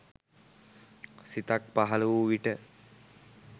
සිතක්‌ පහළ වූ විට